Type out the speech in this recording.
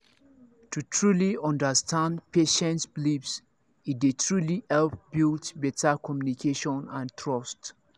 to truly understand patient beliefs e dey truly help build better communication and trust